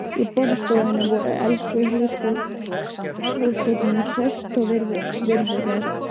Í borðstofunni voru elstu húsgögnin, traust og virðuleg.